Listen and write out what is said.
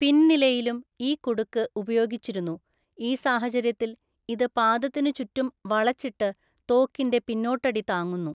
പിന്‍ നിലയിലും ഈ കുടുക്ക് ഉപയോഗിച്ചിരുന്നു, ഈ സാഹചര്യത്തിൽ ഇത് പാദത്തിനു ചുറ്റും വളച്ചിട്ട് തോക്കിന്റെ പിന്നോട്ടടി താങ്ങുന്നു.